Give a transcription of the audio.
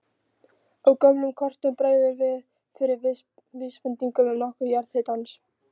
Á gömlum kortum bregður fyrir vísbendingum um notkun jarðhitans.